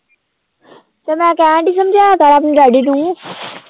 ਤੇ ਮੈਂ ਕਹਿਣਡੀ ਸਮਝਾਇਆ ਕਰ ਆਪਣੇ daddy ਨੂੰ